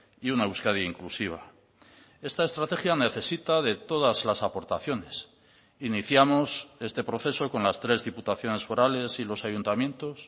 y una euskadi inclusiva esta estrategia necesita de todas las aportaciones iniciamos este proceso con las tres diputaciones forales y los ayuntamientos